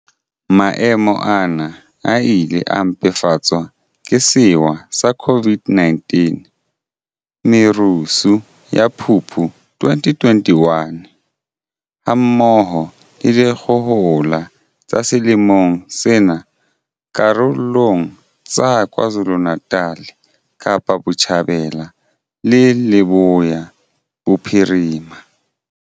Maemo ana a ile a mpefatswa ke sewa sa COVID-19, merusu ya Phupu 2021, ha mmoho le dikgohola tsa selemong sena karolong tsa KwaZulu-Natal, Kapa Botjhabela le Leboya Bophirima.